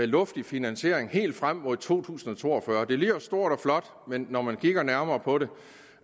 luftig finansiering helt frem mod to tusind og to og fyrre det lyder stort og flot men når man kigger nærmere på det